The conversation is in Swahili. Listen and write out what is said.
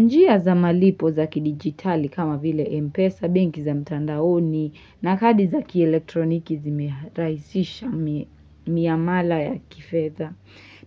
Njia za malipo za kidigitali kama vile MPESA, banki za mtandaoni na kadi za kielektroniki zimeraisisha miamala ya kifedha.